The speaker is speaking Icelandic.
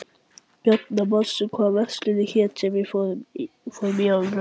Bjarnar, manstu hvað verslunin hét sem við fórum í á laugardaginn?